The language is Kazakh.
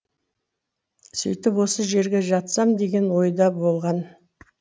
сөйтіп осы жерге жатсам деген ойда болған